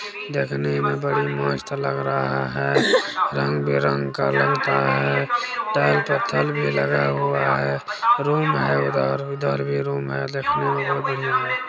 देखने मे बड़ी मस्त लग रहा है रंग विरंग का लगता है टाइल पत्थल भी लगा हुआ है रूम है उधर उधर भी रूम है देखने में बहुत ही बढ़िया है ।